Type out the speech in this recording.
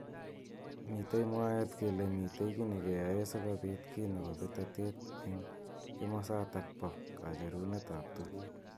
Mitei mwaet kele mitei ki nekeyaeei sikobit ki nebo betotet eng kimosatak bo kacherunet ab tukuk.